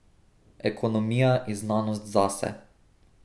Ekonomija je znanost zase.